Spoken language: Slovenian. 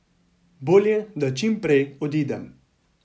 Bolje, da čim prej odidem.